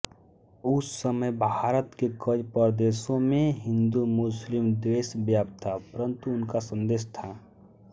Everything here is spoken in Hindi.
उस समय भारत के कई प्रदेशों में हिन्दूमुस्लिम द्वेष व्याप्त था परंतु उनका संदेश था